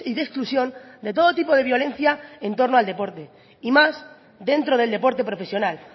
de exclusión de todo tipo de violencia en torno al deporte y más dentro del deporte profesional